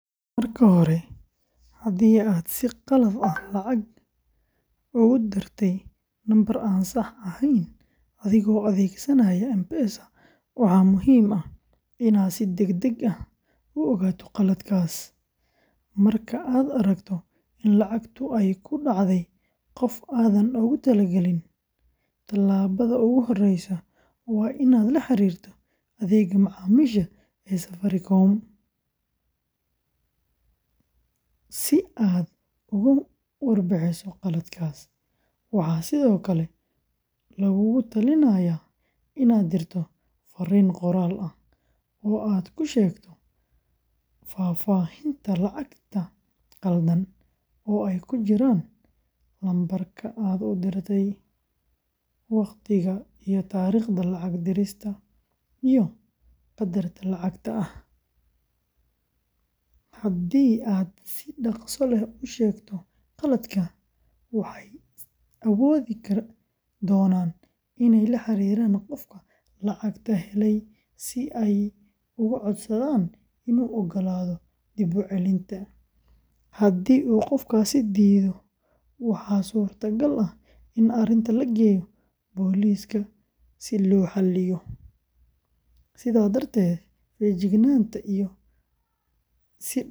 Marka hore, haddii aad si qalad ah lacag ugu dirtay lambar aan sax ahayn adigoo adeegsanaya M-Pesa, waxaa muhiim ah inaad si degdeg ah u ogaato qaladkaas. Marka aad aragto in lacagtu ay ku dhacday qof aanad u talagalin, talaabada ugu horreysa waa inaad la xiriirto adeegga macaamiisha ee Safaricom si aad uga warbixiso khaladkaas. Waxaa sidoo kale laguugula talinayaa inaad dirto fariin qoraal ah oo aad ku sheegto faahfaahinta lacagta khaldan, oo ay ku jiraan: lambarka aad u dirtay, waqtiga iyo taariikhda lacag dirista, iyo qadarka lacagta ah. Haddii aad si dhaqso leh u sheegto khaladka, waxay awoodi doonaan inay la xiriiraan qofka lacagta helay si ay uga codsadaan inuu ogolaado dib-u-celinta. Haddii qofkaasi diido, waxaa suuragal ah in arrinta la geeyo booliiska si loo xalliyo. Sidaa darteed, feejignaanta iyo in si dhakhso ah.